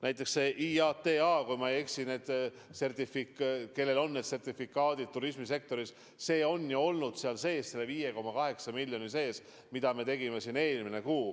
Näiteks IATA –kui ma ei eksi, need sertifikaadid, mida turismisektoris vajatakse, on ju olnud selle 5,8 miljoni sees, mis me eraldasime siin eelmine kuu.